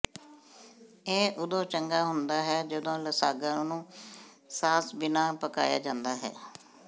ਇਹ ਉਦੋਂ ਚੰਗਾ ਹੁੰਦਾ ਹੈ ਜਦੋਂ ਲਸਾਗਾ ਨੂੰ ਸਾਸ ਬਿਨਾਂ ਪਕਾਇਆ ਜਾਂਦਾ ਹੈ